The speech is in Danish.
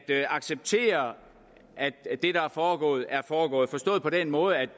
acceptere at det der er foregået er foregået forstået på den måde at